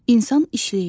İnsan işləyir.